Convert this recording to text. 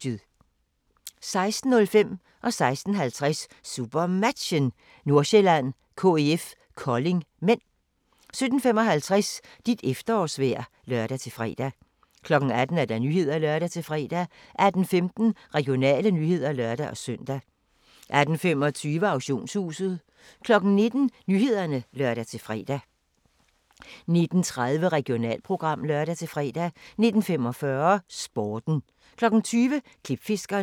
16:05: SuperMatchen: Nordsjælland-KIF Kolding (m) 16:50: SuperMatchen: Nordsjælland-KIF Kolding (m) 17:55: Dit efterårsvejr (lør-fre) 18:00: Nyhederne (lør-fre) 18:15: Regionale nyheder (lør-søn) 18:25: Auktionshuset 19:00: Nyhederne (lør-fre) 19:30: Regionalprogram (lør-fre) 19:45: Sporten 20:00: Klipfiskerne